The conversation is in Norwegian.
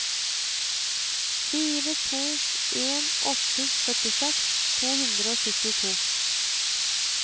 fire to en åtte førtiseks to hundre og syttito